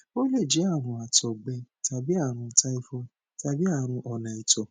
ó lè jẹ àrùn àtọgbẹ tàbí àrùn typhoid tàbí àrùn ona ito